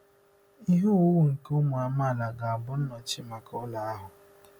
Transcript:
Ihe owuwu nke ụmụ amaala ga-abụ nnọchi maka ụlọ ahụ?